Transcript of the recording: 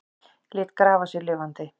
Lét grafa sig lifandi